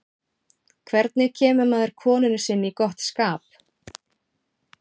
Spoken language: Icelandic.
Hvernig kemur maður konunni sinni í gott skap?